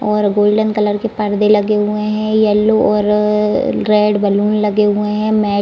और golden colour के पर्दे लगे हुए हैं येलो और रेड बैलून लगे हुए हैं मेट --